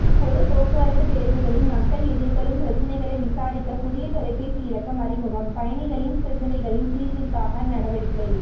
பொது போக்குவரத்து பேருந்துகளில் மக்கள் எதிர்கொள்ளும் பிரச்சனைகளை விசாரிக்க புதியதொலைபேசி இலக்கம் அறிமுகம் பயணிகளின் பிரச்சினைகளின் தீர்வுக்கான நடவடிக்கை